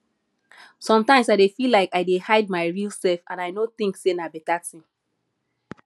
sometimes i dey feel like i dey hide my real self and i no think sey na better thing